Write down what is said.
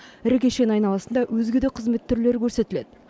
ірі кешен айналасында өзге де қызмет түрлері көрсетіледі